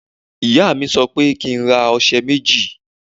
Ìyá mi sọ pé kí n ra ọṣẹ méjì.